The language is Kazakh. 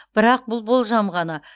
бірақ бұл болжам ғана